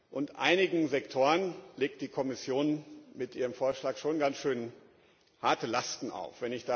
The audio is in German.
Und einigen Sektoren legt die Kommission mit ihrem Vorschlag schon ganz schön harte Lasten auf.